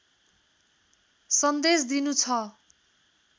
सन्देश दिनु छ